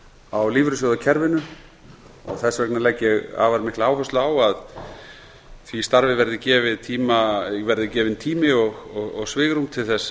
á lífeyrissjóðakerfinu þess vegna legg ég afar mikla áherslu á að því starfi verið gefinn tími og svigrúm til